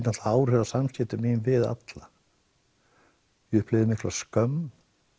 áhrif á samskipti mín við alla ég upplifði mikla skömm